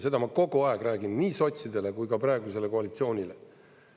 Seda ma kogu aeg räägin nii sotsidele kui ka praegusele koalitsioonile.